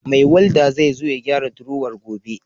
Mai Walda zai zo ya gyara drowar gobe.